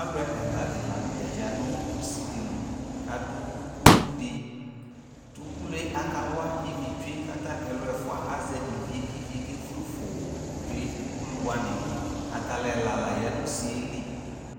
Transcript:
Alʋ ɛladɩ la n'tɛ ya nʋ usidɩ li kadʋ ukulu ɖɩ T'ukulu yɛ akawa ivi tsue k'atamialʋ ɛfua azɛ ivi yɛ k'ivi yɛ ke fue fʋʋʋ tsue ukulu wanɩ Atalʋ ɛla la ya nʋ usi yɛ li